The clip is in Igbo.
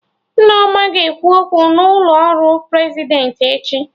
Nneoma ga-ekwu okwu n'ụlọ ọrụ Prezidentị echi